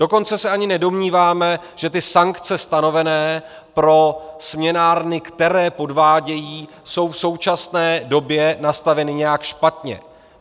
Dokonce se ani nedomníváme, že ty sankce stanovené pro směnárny, které podvádějí, jsou v současné době nastaveny nějak špatně.